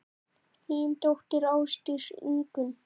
Þín dóttir, Ásdís Ingunn.